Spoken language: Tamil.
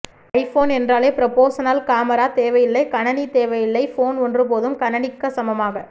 ஐபோன் என்றாலே புறப்போசஸனல் கமரா தேவையில்லை கணணி தேவையில்லை போன் ஒன்று போதும் கணணிக்க சமமாக